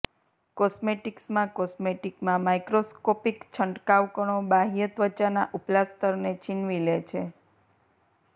કોસ્મેટિક્સમાં કોસ્મેટિકમાં માઇક્રોસ્કોપિક છંટકાવ કણો બાહ્ય ત્વચાના ઉપલા સ્તરને છીનવી લે છે